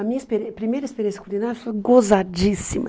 A minha experiên primeira experiência culinária foi gozadíssima.